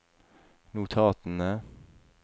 notatene